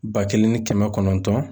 Ba kelen ni kɛmɛ kɔnɔntɔn.